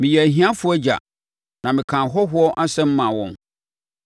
Meyɛɛ ahiafoɔ agya; na mekaa ahɔhoɔ asɛm maa wɔn.